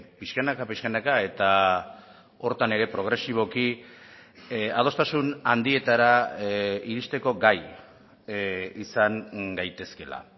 pixkanaka pixkanaka eta horretan ere progresiboki adostasun handietara iristeko gai izan gaitezkeela